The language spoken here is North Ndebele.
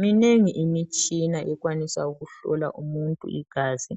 Minengi imitshina ekwanisa ukuhlola umuntu igazi